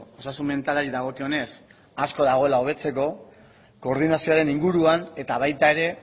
osasun mentalari dagokionez asko dagoela hobetzeko koordinazioaren inguruan eta baita ere